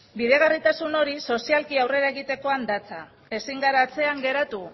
bideragarritasun hori sozialki aurrera egitekoan datza eta ezin gara atzean geratu